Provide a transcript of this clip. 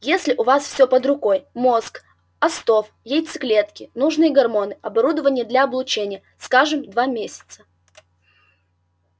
если у вас все под рукой мозг остов яйцеклетки нужные гормоны оборудование для облучения скажем два месяца